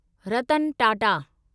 Ratan Tata